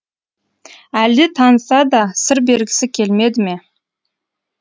әлде таныса да сыр бергісі келмеді ме